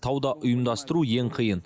тауда ұйымдастыру ең қиын